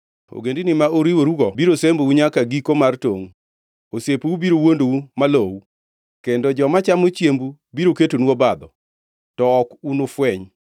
Ogendini ma uriworugo biro sembou nyaka giko mar tongʼ; osiepeu biro wuondou ma lowu; kendo joma chamo chiembu biro ketonu obadho, to ok unufweny.”